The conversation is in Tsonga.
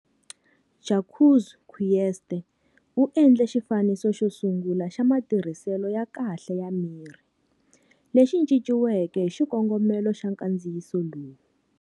Jacques Coetser u endle xifaniso xo sungula xa matirhiselo ya kahle ya mirhi, lexi cinciweke hi xikongomelo xa nkandziyiso lowu.